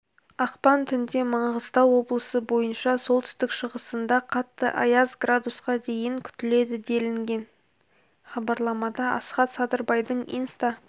ақпан түнде маңғыстау облысы бойынша солтүстік-шығысында қатты аяз с-қа дейін күтіледі делінген хабарламада асхат садырбайдың инста